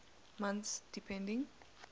months depending